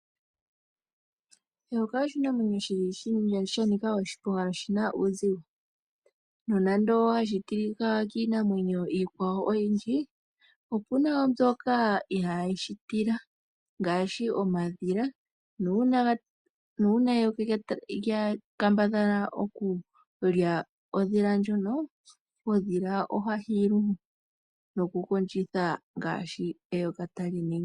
Eyoka oshinamwenyo sh anika oshiponga noshi na uuzigo. Nonando hali tilika kiinamwenyo iikwawo oyindji, opu na wo mbyoka ihayi li tila ngaashi omadhila nuuna eyoka lya kambadhala okulya ondhila ndjoka, ondhila ohayi kondjo nokukondjitha ngaashi eyoka tali ningi.